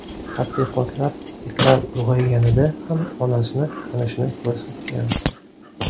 Tadqiqotlar itlar ulg‘ayganida ham onasini tanishini ko‘rsatgan.